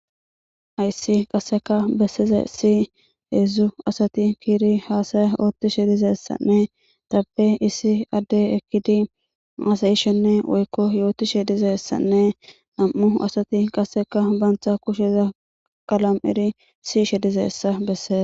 ayssi qasseka bessize si heedzzu asati kiiri haasaya oottishe dizessanne tappe issi adde ekkidi aasayishenne woykko yootishe dizessanne am7u asati qasseka baantha kusheza qalam7iri siishe dizessa besseze